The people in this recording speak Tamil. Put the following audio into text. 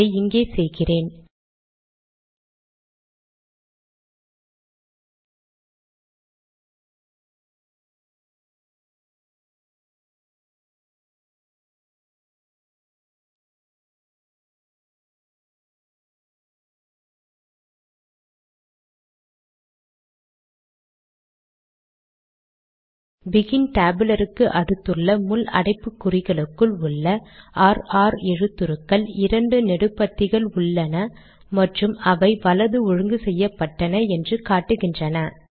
அதை இங்கே செய்கிறேன் பெகின் டேபுலர் க்கு அடுத்துள்ள முள் அடைப்புக்குறிகளுக்குள் உள்ள ர் ர் எழுத்துருக்கள் இரண்டு நெடுபத்திகள் உள்ளன மற்றும் அவை வலது ஒழுங்கு செய்யப்பட்டன என்று காட்டுகின்றன